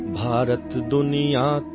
ಇದನ್ನು ದೀಪಕ್ ವತ್ಸ್ ಅವರು ಕಳುಹಿಸಿಕೊಟ್ಟಿದ್ದಾರೆ